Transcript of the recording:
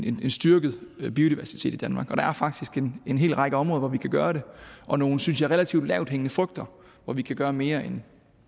en styrket biodiversitet i danmark der er faktisk en hel række områder hvor vi kan gøre det og nogle synes jeg relativt lavthængende frugter hvor vi kan gøre mere end